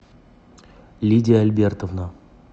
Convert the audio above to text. лидия альбертовна